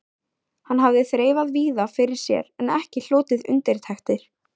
Hann hafði þreifað víða fyrir sér en ekki hlotið undirtektir.